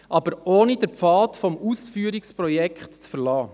Dies aber ohne den Pfad des Ausführungsprojekts zu verlassen.